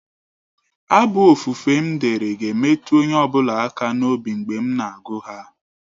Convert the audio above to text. Abụ ofufe m dere ga-emetụ onye ọ bụla aka n'obi mgbe m na-agụ ha.